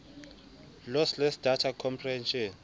lossless data compression